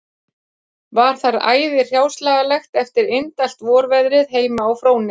Var þar æði hráslagalegt eftir indælt vorveðrið heima á Fróni